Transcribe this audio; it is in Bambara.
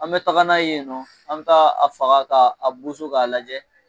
An bɛ taga n'a yen nɔ, an bɛ taga a faga k'a boson k'a lajɛ.